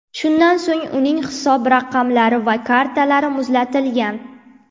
Shundan so‘ng uning hisob raqamlari va kartalari muzlatilgan.